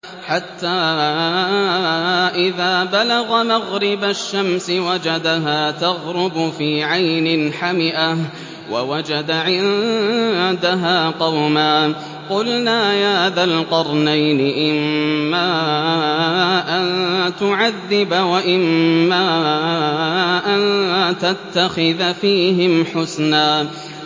حَتَّىٰ إِذَا بَلَغَ مَغْرِبَ الشَّمْسِ وَجَدَهَا تَغْرُبُ فِي عَيْنٍ حَمِئَةٍ وَوَجَدَ عِندَهَا قَوْمًا ۗ قُلْنَا يَا ذَا الْقَرْنَيْنِ إِمَّا أَن تُعَذِّبَ وَإِمَّا أَن تَتَّخِذَ فِيهِمْ حُسْنًا